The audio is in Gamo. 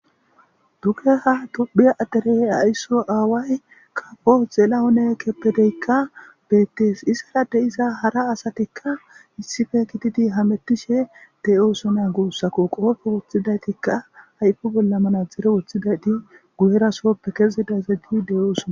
Dugeha duphia aderey aysso aaway kapo xela one keppedeykka beettees isara de iza hara asatikka issife gitidi hamettishe deyoosona guussako qoofe wuththidaytikka hayfu bolla mana dzere uthidayti guyerasoppe kezidazaj gi deyoosona.